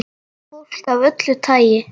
Fólk af öllu tagi.